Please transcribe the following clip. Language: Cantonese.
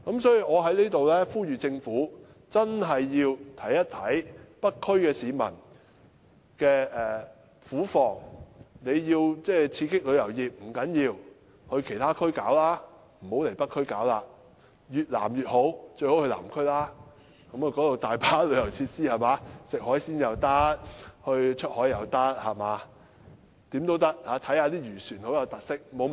所以，我在此呼籲，政府真的要體諒北區居民的苦況，請政府到其他地區發展旅遊業，不要來北區，越南面越好，最好到南區，因為那裏有大量旅遊設施，旅客可以吃海鮮、出海、看漁船等，都是很有特色的活動。